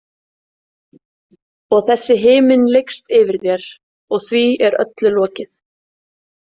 Og þessi himinn lykst yfir þér, og því er öllu lokið.